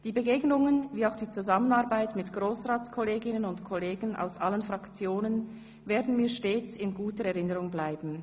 Die Begegnungen wie auch die Zusammenarbeit mit Grossratskolleginnen und -kollegen aus allen Fraktionen werden mir stets in guter Erinnerung bleiben.